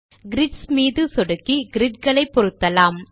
grids மீது சொடுக்கி grid களை பொருத்தலாம்